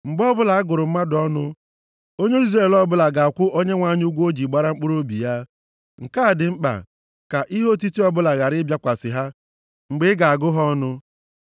“Mgbe ọbụla a gụrụ mmadụ ọnụ, onye Izrel ọbụla ga-akwụ Onyenwe anyị ụgwọ o ji gbara mkpụrụobi ya. Nke a dị mkpa, ka ihe otiti ọbụla ghara ịbịakwasị ha mgbe ị ga-agụ ha ọnụ.